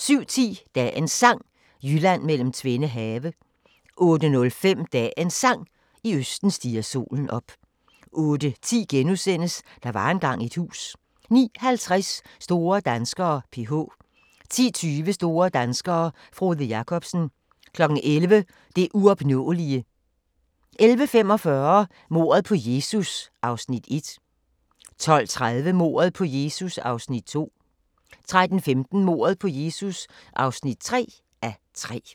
07:10: Dagens Sang: Jylland mellem tvende have 08:05: Dagens Sang: I østen stiger solen op 08:10: Der var engang et hus * 09:50: Store danskere: PH 10:20: Store danskere: Frode Jakobsen 11:00: Det uopnåelige 11:45: Mordet på Jesus (1:3) 12:30: Mordet på Jesus (2:3) 13:15: Mordet på Jesus (3:3)